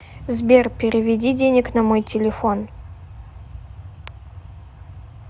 сбер переведи денег на мой телефон